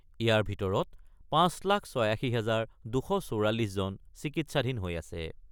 ইয়াৰ ভিতৰত ৫ লাখ ৮৬ হাজাৰ ২৪৪ জন চিকিৎসাধীন হৈ আছে।